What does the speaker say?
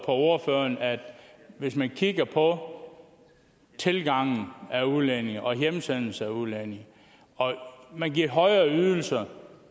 på ordføreren hvis man kigger på tilgangen af udlændinge og hjemsendelsen af udlændinge og man giver højere ydelser